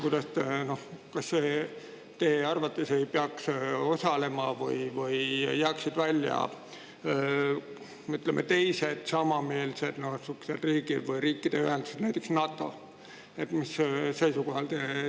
Kas teie arvates ei peaks seal osalema või sealt peaksid eemale jääma, ütleme, teiste samameelsete riikide või riikide ühenduste, näiteks NATO?